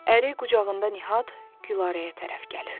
Əri qucağında Nihat Gülarəyə tərəf gəlirdi.